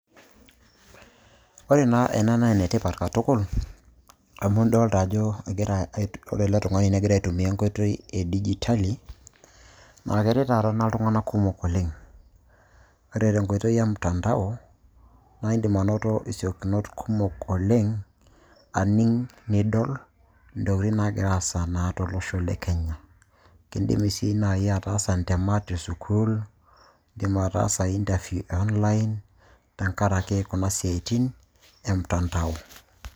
Ore naa ena naa enetipat katukul, amu idlta ajo egira ore ele tung'ani negira aitumia enkoitoi edijitali, na keret taata ena iltung'anak kumok oleng'. Ore tenkoitoi emtandao, na iidim anoto isiokinot kumok oleng',aning' nidol intokiting' nagira aasa na tolosho le kenya. Kidimi si nai ataasa intemat esukuul, idim ataasa interview e online ,tenkaraki kuna siaitin, emtandao.